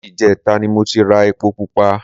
Láti ìjẹta ni mo ti ra epo pupa